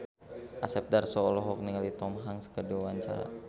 Asep Darso olohok ningali Tom Hanks keur diwawancara